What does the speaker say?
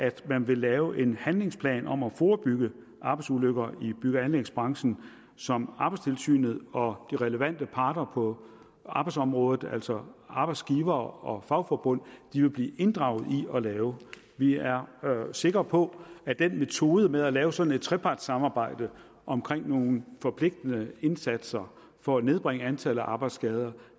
at man vil lave en handlingsplan om at forebygge arbejdsulykker i bygge og anlægsbranchen som arbejdstilsynet og de relevante parter på arbejdsområdet altså arbejdsgivere og fagforbund vil blive inddraget i at lave vi er sikre på at den metode med at lave sådan et trepartssamarbejde om nogle forpligtende indsatser for at nedbringe antallet af arbejdsskader